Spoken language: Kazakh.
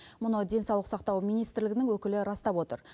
мұны денсаулық сақтау министрлігінің өкілі растап отыр